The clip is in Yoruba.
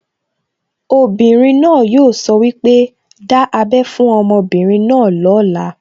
Obìnrin náà yóò sọ wípé, 'Dá ábẹ́ fún ọmọbìnrin náà lóla'